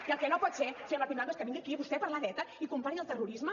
i el que no pot ser senyor martín blanco és que vingui aquí vostè a parlar d’eta i compari el terrorisme